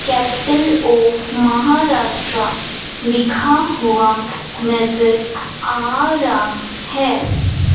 Capital of Maharashtra लिखा हुआ नजर आ रहा है।